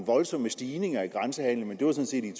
voldsomme stigninger i grænsehandelen sådan set er